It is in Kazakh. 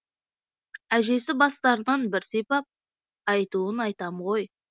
әжесі бастарынан бір сипап айтуын айтам ғой